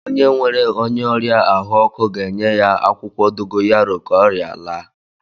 Onye nwere onye ọrịa ahụ ọkụ ga-enye ya akwụkwọ dogoyaro ka ọria laa